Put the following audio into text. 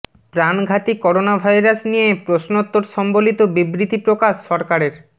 প্রাণঘাতী corona virus নিয়ে প্রশ্নোত্তর সম্বলিত বিবৃতি প্রকাশ সরকারের